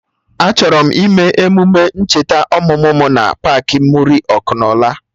Achọrọ m ime emume ncheta ọmụmụ mụ na paakị Muri Ọkụnola